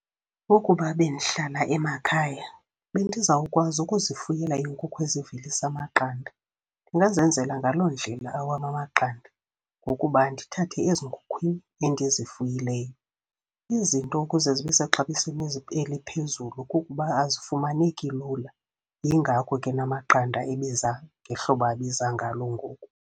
Ukuba bendihlala emakhaya, bendizawukwazi ukuzifuyela iinkukhu ezivelisa amaqanda. Ndingazenzela ngaloo ndlela awam amaqanda, ngokuba ndithathe ezinkukhwini endizifuyileyo. Izinto ukuze zibe sexabisweni eliphezulu kukuba azifumaneki lula, yingako ke namaqanda ebiza ngehlobo abiza ngalo ngoku.